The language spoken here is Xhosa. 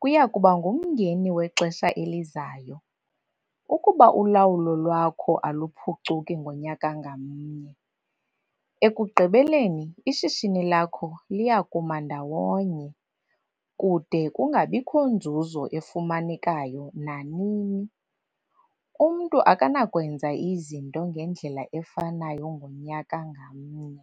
kuya kuba ngumngeni wexesha elizayo - ukuba ulawulo lwakho aluphucuki ngonyaka ngamnye - ekugqibeleni ishishini lakho liya kuma ndawonye, kude kungabikho nzuzo efumanekayo nanini. Umntu akanakwenza izinto ngendlela efanayo ngonyaka ngamnye.